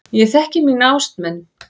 Ég þekki mína ástmenn.